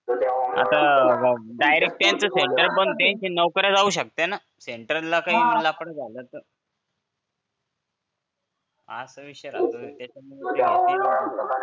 त्यांचं नोकर जाऊ शकते ना सेंटरला काही लफडं झालं तर असा विषय राहतो